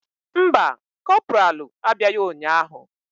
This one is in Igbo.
Mba, kopralu abịaghị ụnyahụ.